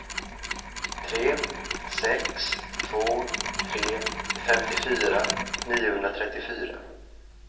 tre sex två tre femtiofyra niohundratrettiofyra